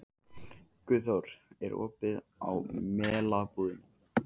Guðþór, er opið í Melabúðinni?